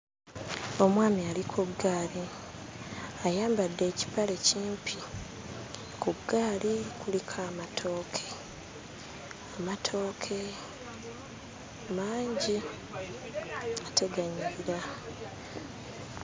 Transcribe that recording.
Omwami ali ku ggaali, ayambadde ekipale kimpi, ku ggaali kuliko amatooke, amatooke mangi ate ganyirira.